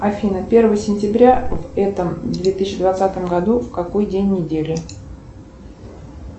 афина первое сентября в этом две тысячи двадцатом году какой день недели